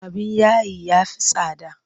Abin yayi ya fi tsada.